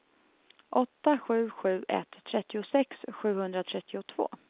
åtta sju sju ett trettiosex sjuhundratrettiotvå